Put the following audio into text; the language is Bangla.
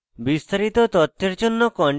বিস্তারিত তথ্যের জন্য